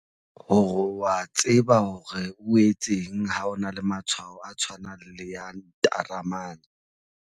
Hore o a tseba hore o etseng ha o na le matshwao a tshwanang le a ntaramane.